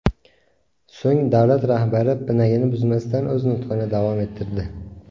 So‘ng davlat rahbari pinagini buzmasdan o‘z nutqini davom ettirdi.